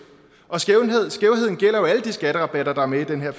og skævheden gælder jo alle de skatterabatter der er med i den her